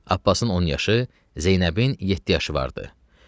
Abbasın 10 yaşı, Zeynəbin 7 yaşı vardı.